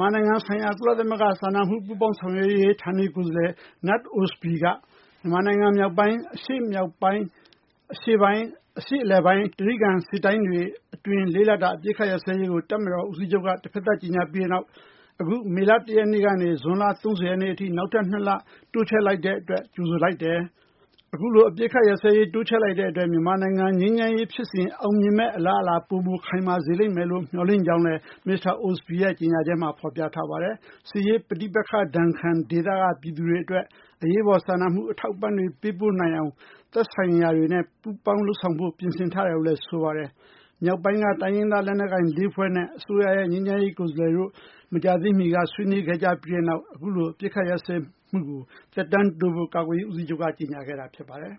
မာနိုင်ငံဆိုင်ရာ ကုလသမဂ္ဂ စာနာမှု ပူးပေါင်းဆောင်ရွက်ရေး ဌာနေကိုယ်စားလှယ် Knut Ostby က မြန်မာနိုင်ငံ မြောက်ပိုင်း၊ အရှေ့မြောက်ပိုင်း၊ အရှေ့ပိုင်း၊ အရှေ့အလယ်ပိုင်း၊ တြိဂံ စစ်တိုင်းတွေ အတွင်း ၄ လတာ အပစ်အခတ် ရပ်စဲရေးကို တပ်မတော် ကာကွယ်ရေး ဦးစီးချုပ်က တဖက်သတ် ကြေညာပြီးတဲ့နောက် အခု မေလ ၁ ရက်နေ့ကနေ ဇွန်လ ၃၀ ရက်နေ့ အထိ နောက်ထပ် ၂ လ တိုးချဲ့လိုက်တဲ့ အပေါ် ကြိုဆိုလိုက်တယ်၊ အခုလို အပစ်အခတ် ရပ်စဲရေး တိုးချဲ့လိုက်တဲ့ အတွက် မြန်မာနိုင်ငံ ငြိမ်းချမ်းရေး ဖြစ်စဉ် အောင်မြင်မယ့် အလားအလာ ပိုမို ခိုင်မာစေလိမ့်မယ်လို့ မေ ျှာ်လင့်ကြောင်းလည်း မစ္စတာ Ostby ရဲ့ ကြေညာချက်မှာ ဖော်ပြထားပါတယ်။ စစ်ရေးပဋိပက္ခဒဏ်ခံ ဒေသက ပြည်သူတွေ အတွက် အရေးပေါ် စာနာမှု အထောက်အပံ့တွေ ပေးပို့ နိုင်အောင် သက်ဆိုင်ရာတွေနဲ့ ပူးပေါင်းလုပ်ဆောင်ဖို့ ပြင်ဆင်ထားတယ်လို့ ဆိုပါတယ်။ မြောက်ပိုင်းက တိုင်းရင်းသား လက်နက်ကိုင် ၄ ဖွဲ့နဲ့ အစိုးရရဲ့ ငြိမ်းချမ်းရေး ကိုယ်စားလှယ်တို့ မကြာသေးမီက ဆွေးနွေးခဲ့ကြပြီးတဲ့နောက် အခုလို အပစ်အခတ် ရပ်စဲမှုကို သက်တမ်းတိုးဖို့ ကာကွယ်ရေး ဦးစီးချုပ်က ကြေညာခဲ့တာ ဖြစ်ပါတယ်။